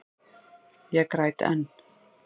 Ég græt enn.